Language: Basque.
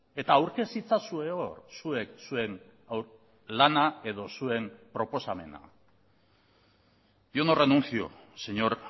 eta aurkez itzazue hor zuek zuen lana edo zuen proposamena yo no renuncio señor